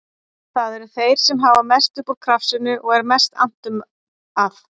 Það eru þeir sem hafa mest upp úr krafsinu og er mest annt um að